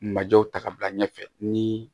Majɔw ta ka bila ɲɛfɛ ni